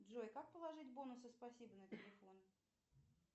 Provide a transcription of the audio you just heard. джой как положить бонусы спасибо на телефон